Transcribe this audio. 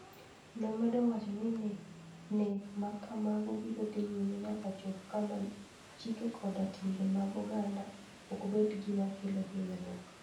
Nomedo wacho ni nek ma kamago biro dhi nyime nyaka chop kama chike koda timbe mag oganda ok bed gima kelo hinyruok.